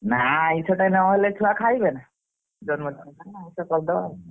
ନା ଆଇଷ ଟା ନହେଲେ ଛୁଆ ଖାଇବେନା ଜନ୍ମ ଦିନ ଟା ଆଇଷ କରଦବା ଆଉ।